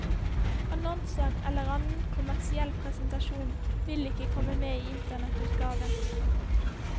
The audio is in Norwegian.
Annonser eller annen kommersiell presentasjon vil ikke komme med i internettutgaven.